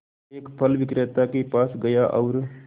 एक फल विक्रेता के पास गया और